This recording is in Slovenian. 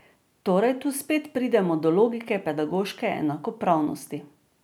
Torej tu spet pridemo do logike pedagoške enakopravnosti.